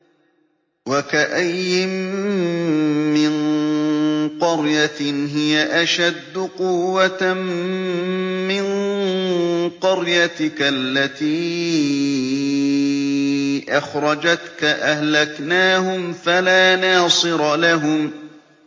وَكَأَيِّن مِّن قَرْيَةٍ هِيَ أَشَدُّ قُوَّةً مِّن قَرْيَتِكَ الَّتِي أَخْرَجَتْكَ أَهْلَكْنَاهُمْ فَلَا نَاصِرَ لَهُمْ